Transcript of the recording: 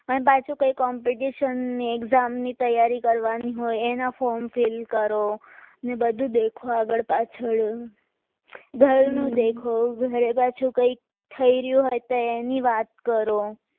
અને પાછો competition ની exam ની તૈયારી કરવાની હોય એના form કરો ને બધું દેખવા આગળ પાછળ ઘરનો દેખો કરને પાછુ થઈ રહી હોય તો એની વાત કરો